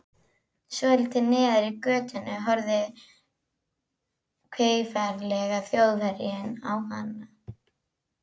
Svolítið neðar í götunni horfir kveifarlegi Þjóðverjinn á hana.